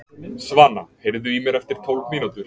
Svana, heyrðu í mér eftir tólf mínútur.